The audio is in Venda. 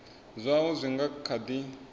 zwaho zwi nga kha di